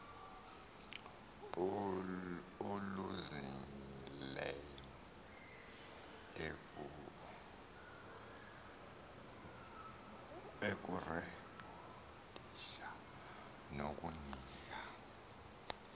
oluzingileyo ukurekhodisha nokunika